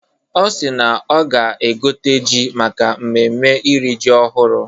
Ọ si na ọ ga-egote ji maka mmemme iri ji ọhụrụ.